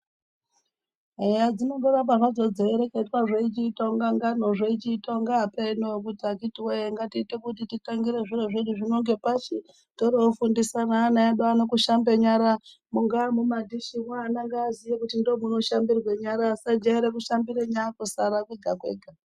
Eya zvinoramba hazvo zveireketwa zveichiita ngano zvechiita kunge apeno akhitiwee ngatichiita zviro zvedu teitangira nepashi torofundisa nevana vedu ano kushamba nyara mubari mumadhishimo vana ngavaziye kuti ndimo munoshambirwa nyara vasajaira kushambira nyara kusaraa kwega kwega.